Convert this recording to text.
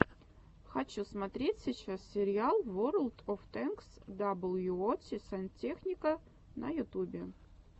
хочу смотреть сейчас сериал ворлд оф тэнкс даблюоути сантехника на ютубе